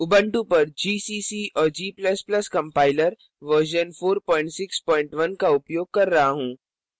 Ubuntu पर gcc और g ++ compiler version 461 का उपयोग कर रहा हूँ